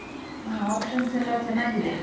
ಹಾ options ಎಲ್ಲ ಚೆನ್ನಾಗಿದೆ.